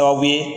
Sababu ye